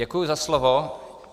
Děkuji za slovo.